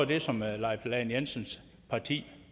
det som herre leif lahn jensens parti